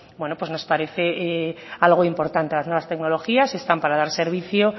nos parece algo importante las nuevas tecnologías están para dar servicios